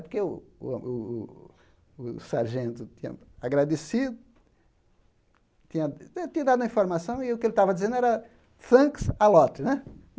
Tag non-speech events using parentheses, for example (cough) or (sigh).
Porque o o o o sargento tinha agradecido, tinha (unintelligible) dado a informação, e o que ele estava dizendo era, thanks a lot, né?